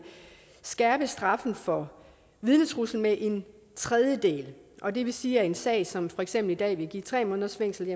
skærpe straffen for vidnetrussel med en tredjedel og det vil sige at en sag som for eksempel i dag vil give tre måneders fængsel